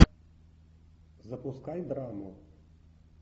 запускай драму